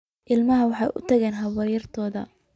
Ilmihii wuxuu u tagay habaryartii